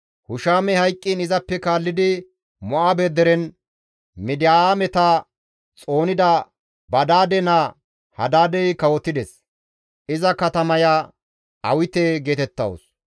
Hushamey hayqqiin izappe kaallidi Mo7aabe deren Midiyaameta xoonida Badaade naa Hadaadey kawotides; iza katamaya Awite geetettawus.